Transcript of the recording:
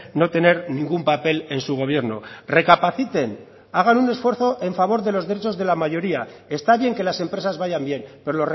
no tener ningún papel en su gobierno recapaciten hagan un esfuerzo en favor de los derechos de la mayoría está bien que las empresas vayan bien pero